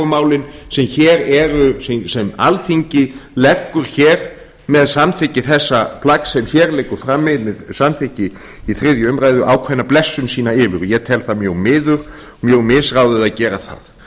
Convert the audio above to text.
málin sem alþingi leggur hér með samþykki þessa plagg sem hér liggur frammi með samþykki í þriðju umræðu ákveðna blessun sína yfir ég tel það mjög miður mjög misráðið að gera það